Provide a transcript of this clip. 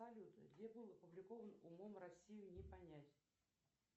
салют где был опубликован умом россию не понять